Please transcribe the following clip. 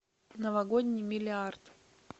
новогодний миллиард